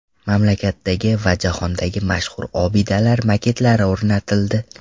Mamlakatdagi va jahondagi mashhur obidalar maketlari o‘rnatildi.